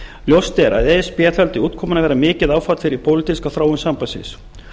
ljóst er að e s b taldi útkomuna vera mikið áfall fyrir pólitíska þróun sambandsins